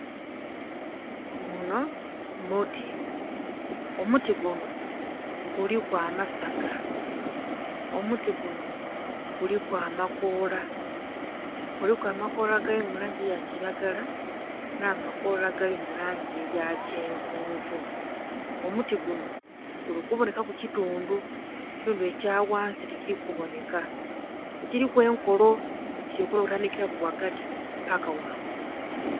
Gunho muti, omuti gunho guliku amasaga, omuti gunho guliku amakoola, guliku amakoola agali mu langi eya kilagala nha makoola agali mu langi eya kyenvunvu. Omuti gunho guli kubonhekaku kitundhu ekitundhu ekya ghansi ttikili ku binheka ekiliku enkolo, kili kubonhekaku okutandhikilaku ghagati paka ghangulu.